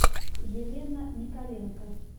елена николенко